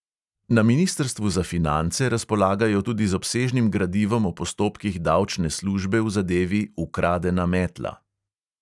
Na ministrstvu za finance razpolagajo tudi z obsežnim gradivom o postopkih davčne službe v zadevi ukradena metla.